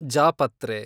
ಜಾಪತ್ರೆ